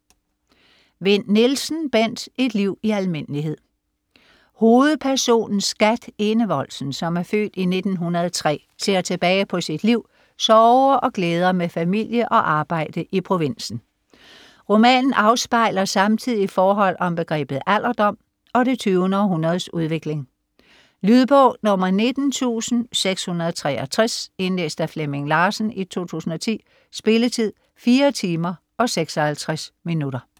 Vinn Nielsen, Bent: Et liv i almindelighed Hovedpersonen Skat Enevoldsen, som er født i 1903, ser tilbage på sit liv, sorger og glæder med familie og arbejde i provinsen. Roman afspejler samtidig forhold om begrebet alderdom og det 20. århundredes udvikling. Lydbog 19663 Indlæst af Flemming Larsen, 2010. Spilletid: 4 timer, 56 minutter.